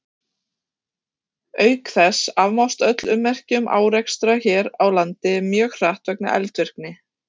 Auk þess afmást öll ummerki um árekstra hér á landi mjög hratt vegna eldvirkni.